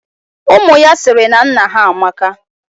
Umu ya siri na nna ha amaka.